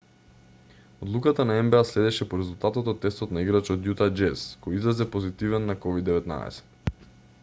одлуката на нба следеше по резултатот од тестот на играч од јута џез кој излезе позитивен на ковид-19